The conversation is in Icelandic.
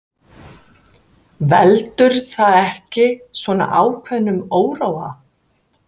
Veldur það ekki svona ákveðnum óróa?